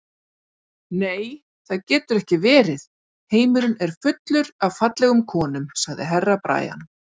Nei, það getur ekki verið, heimurinn er fullur af fallegum konum, sagði Herra Brian.